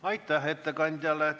Aitäh ettekandjale!